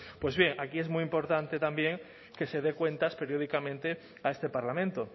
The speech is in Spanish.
pues bien aquí es muy importante también que se dé cuenta periódicamente a este parlamento